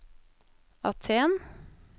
Aten